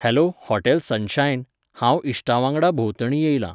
Hello hotel sunshine, हांव इश्टां वांगडा भोंवतणी येयलां.